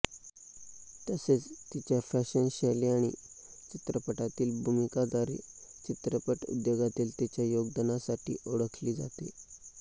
तसेच तिच्या फॅशन शैली आणि चित्रपटातील भूमिकांद्वारे चित्रपट उद्योगातील तिच्या योगदानासाठी ओळखली जाते